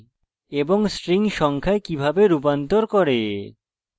এবং strings সংখ্যায় কিভাবে রূপান্তর করে